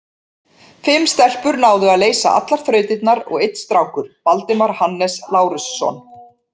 Fimm stelpur náðu að leysa allar þrautirnar og einn strákur, Valdimar Hannes Lárusson.